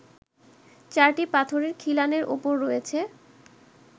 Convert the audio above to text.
চারটি পাথরের খিলানের ওপর রয়েছে